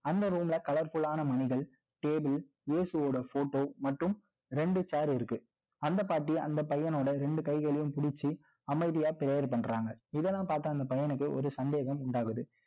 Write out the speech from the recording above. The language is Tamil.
அந்த room ல, colourful ஆன மணிகள table இயேசுவோட photo மற்றும், ரெண்டு chair இருக்கு அந்த பாட்டி, அந்த பையனோட, ரெண்டு கைகளையும் பிடிச்சு, அமைதியா prayer பண்றாங்க. இதெல்லாம் பார்த்த, அந்த பையனுக்கு, ஒரு சந்தேகம் உண்டாகுது